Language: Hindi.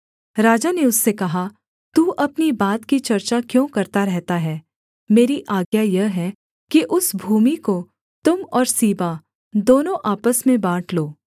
राजा ने उससे कहा तू अपनी बात की चर्चा क्यों करता रहता है मेरी आज्ञा यह है कि उस भूमि को तुम और सीबा दोनों आपस में बाँट लो